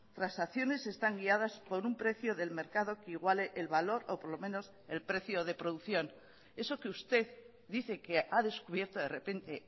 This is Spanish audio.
transacciones están guiadas por un precio del mercado que iguale el valor o por lo menos el precio de producción eso que usted dice que ha descubierto de repente